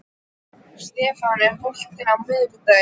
Stefán, er bolti á miðvikudaginn?